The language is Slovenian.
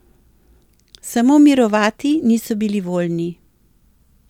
Samo mirovati niso bili voljni.